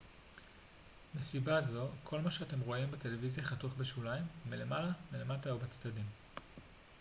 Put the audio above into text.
מסיבה זו כל מה שאתם רואים בטלוויזיה חתוך בשוליים מלמעלה מלמטה ובצדדים